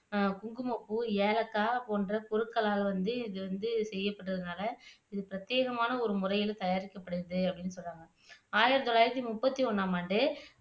குந்குமப்பூ, ஏலக்காய் போன்ற பொருட்களால் வந்து இது வந்து செய்யப்பட்டதுனால இது பிரத்யேகமான ஒரு முறையில தயாரிக்கப்படுது அப்படின்னு சொல்றாங்க ஆயிரத்து தொள்ளாயிரத்து முப்பத்து ஒன்னாம் ஆண்டு